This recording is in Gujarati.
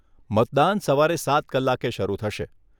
મતદાન સવારે સાત કલાકે શરુ થશે.